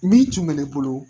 Min tun bɛ ne bolo